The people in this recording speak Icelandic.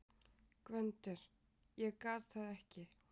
GVENDUR: Ég gat það ekki!